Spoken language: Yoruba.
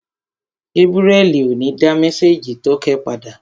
Gébúrẹ́li ò ní dá mésèjì tókẹ́ padà